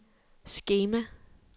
skema